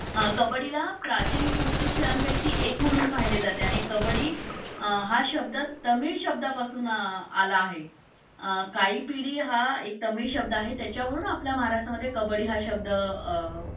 अ कबड्डीला प्राचीन कुस्ती खेळांपैकी एक म्हणून पाहिले जाते आणि कब्बडी हा शब्द तमिळ शब्दापासून आला आहे. काईपीडी हा एक तामिळ शब्द आहे त्याच्यावरून आपल्या महाराष्ट्रामध्ये कबड्डी हा शब्द अ